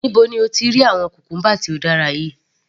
Níbo ni o ti rí àwọn cucumber tí ó dára yìí?.